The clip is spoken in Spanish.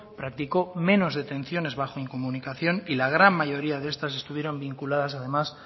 practicó menos detenciones bajo incomunicación y la gran mayoría de estas estuvieron vinculadas además